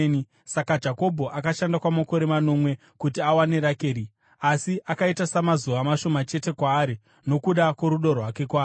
Saka Jakobho akashanda kwamakore manomwe kuti awane Rakeri, asi akaita samazuva mashoma chete kwaari nokuda kworudo rwake kwaari.